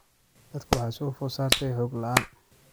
Dadka waxaa soo food saartay xog la�aan.